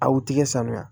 A u tɛgɛ sanuya